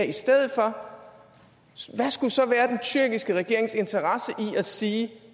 i stedet for hvad skulle så være den tyrkiske regerings interesse i at sige